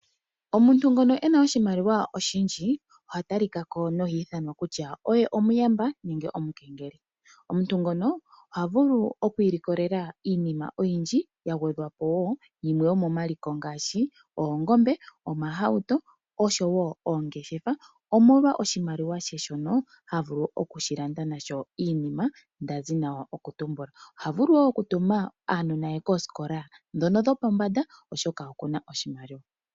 Omuntu ngono e na oshimaliwa oshindji oha talika ko noha ithanwa kutya oye omuyamba nenge omukengeli. Omuntu ngono oha vulu oku ilikolela iinima oyindji ya gwedhwa po wo yimwe yomomaliko ngaashi oongombe, omahauto noshowo oongeshefa, omolwa oshimaliwa she shoka ha vulu okushi landa nasho iinima nda zi nokutumbula. Oha vulu wo okutuma aanona ye koosikola ndhono dhopombanda, oshoka oku na oshimaliwa.